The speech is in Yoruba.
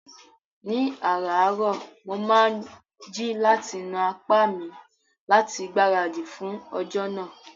Ní ààrárọ̀, mo máa ń jí láti na apá mi láti gbáradì fún ọjọ́ náà